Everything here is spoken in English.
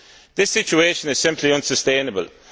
This situation is simply unsustainable.